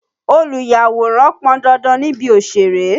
Olùyàwòrán pọn dandan níbi òṣèré.